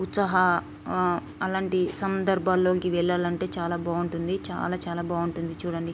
ఉత్సాహ ఆ అలాంటి సందర్భాల్లోకి వెళ్ళాలంటే చాలా బావుంటుంది చాలా చాలా బావుంటుంది చూడండి.